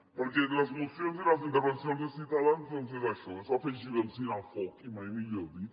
perquè les mocions i les intervencions de ciutadans doncs és això és afegir benzina al foc i mai millor dit